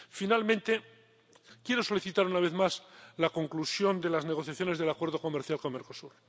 Finalmente, quiero solicitar una vez más la conclusión de las negociaciones del Acuerdo Comercial con Mercosur.